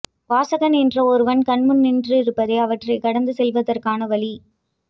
வாசகன் என்ற ஒருவன் கண்முன் நின்றிருப்பதே அவற்றை கடந்து செல்வதற்கான வழி